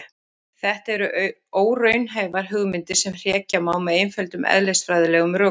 Þetta eru óraunhæfar hugmyndir sem hrekja má með einföldum eðlisfræðilegum rökum.